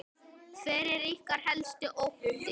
Hver er ykkar helsti ótti?